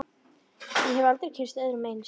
Ég hef aldrei kynnst öðru eins.